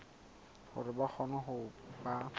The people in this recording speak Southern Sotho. hore ba kgone ho ba